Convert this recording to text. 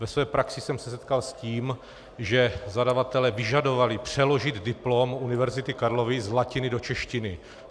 Ve své praxi jsem se setkal s tím, že zadavatelé vyžadovali přeložit diplom Univerzity Karlovy z latiny do češtiny.